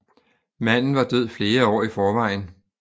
Manden var død flere år i forvejen